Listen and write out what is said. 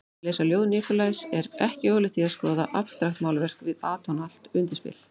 Að lesa ljóð Nikolajs er ekki ólíkt því að skoða abstraktmálverk við atónalt undirspil.